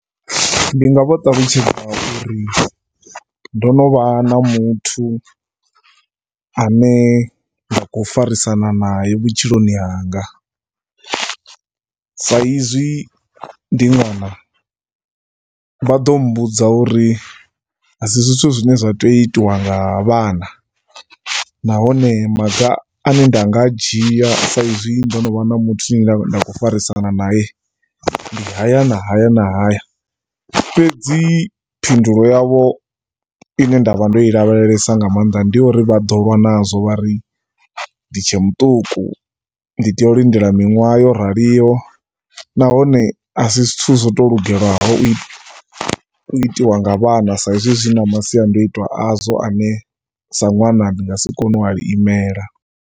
Ndi nga vha ṱalutshedza uri ndo no vha na muthu a ne nda khou farisana nae vhutshiloni hanga, saizwi ndi ṅwana vha ḓo mmbudza uri a si zwithu zwine zwa tea u itiwa nga vhana nahone maga a ne nda nga a dzhia saizwi ndo no vha na muthu a ne nda khou farisana nae ndi haya na haya na haya. Fhedzi phindulo yavho i ne nda vha ndo i lavhelesa nga maanḓa, ndi ya uri vha ḓo lwa nazwo vha ri ndi tshe muṱuku. Ndi tea u lindela miṅwaha yo raliho nahone a si zwithu zwo tou lugelaho u itiwa nga vhana saizwi masiandaitwa azwo a ne sa ṅwana ndi nga si kone u a imela.